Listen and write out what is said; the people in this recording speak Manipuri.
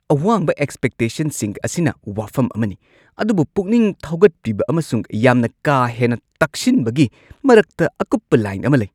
ꯑꯋꯥꯡꯕ ꯑꯦꯛꯁꯄꯦꯛꯇꯦꯁꯟꯁꯤꯡ ꯑꯁꯤꯅ ꯋꯥꯐꯝ ꯑꯃꯅꯤ, ꯑꯗꯨꯕꯨ ꯄꯨꯛꯅꯤꯡ ꯊꯧꯒꯠꯄꯤꯕ ꯑꯃꯁꯨꯡ ꯌꯥꯝꯅ ꯀꯥ ꯍꯦꯟꯅ ꯇꯛꯁꯤꯟꯕꯒꯤ ꯃꯔꯛꯇ ꯑꯀꯨꯞꯄ ꯂꯥꯢꯟ ꯑꯃ ꯂꯩ꯫